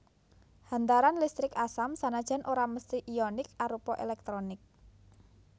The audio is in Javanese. Hantaran listrik asam sanajan ora mesthi ionik arupa èlèktrolit